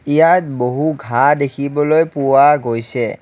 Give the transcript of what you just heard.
ইয়াত বহু ঘাঁহ দেখিবলৈ পোৱা গৈছে।